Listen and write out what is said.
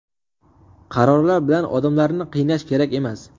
Qarorlar bilan odamlarni qiynash kerak emas.